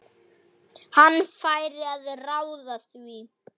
Hann fær að ráða því.